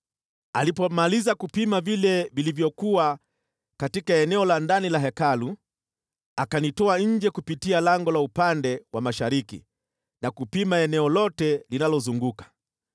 Alipomaliza kupima vile vilivyokuwa katika eneo la ndani la Hekalu, akanitoa nje kupitia lango la upande wa mashariki na kupima eneo lote linalozunguka: